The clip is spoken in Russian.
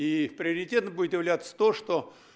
и приоритет будет являться то что